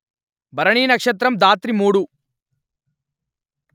భరణి నక్షత్రము ధాత్రిమూడు